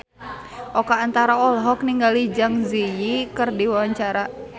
Oka Antara olohok ningali Zang Zi Yi keur diwawancara